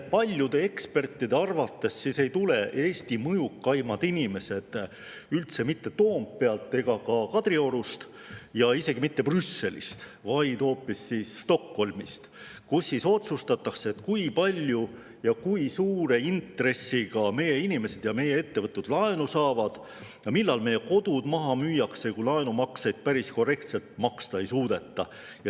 Paljude ekspertide arvates ei tule Eesti mõjukaimad inimesed üldse mitte Toompealt ega ka Kadriorust ja isegi mitte Brüsselist, vaid hoopis Stockholmist, kus otsustatakse, kui palju ja kui suure intressiga meie inimesed ja meie ettevõtted laenu saavad ja millal inimeste kodud maha müüakse, kui laenumakseid päris korrektselt maksta ei suudeta.